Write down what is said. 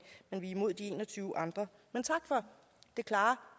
men vi er imod de en og tyve andre men tak for det klare